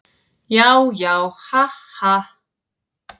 Já, já, ha, ha.